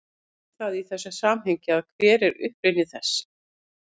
Hvað þýðir það í þessu samhengi og hver er uppruni þess?